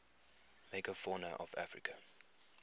megafauna of africa